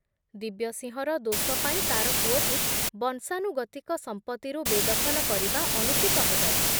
ଦିବ୍ୟସିଂହର ଦୋଷ ପାଇଁ ତାର ପୁଅକୁ ବଂଶାନୁଗତିକ ସଂପତ୍ତିରୁ ବେଦଖଲ କରିବା ଅନୁଚିତ ହେବ ।